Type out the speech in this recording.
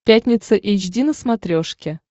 пятница эйч ди на смотрешке